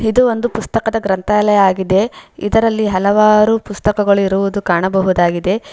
ಇದು ಒಂದು ಪುಸ್ತಕದ ಗ್ರಂಥಾಲಯಯಾಗಿದೆ ಇದರಲ್ಲಿ ಹಲವಾರು ಪುಸ್ತಕಗಳು ಇರುವುದು ಕಾಣಬಹುದಾಗಿದೆ.